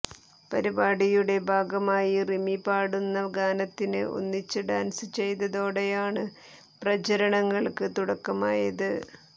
പരിപാടിയുടെ ഭാഗമായി റിമി പാടുന്ന ഗാനത്തിന് ഒന്നിച്ച് ഡാന്സ് ചെയ്തതോടെയാണ് പ്രചരണങ്ങള്ക്ക് തുടക്കമായത്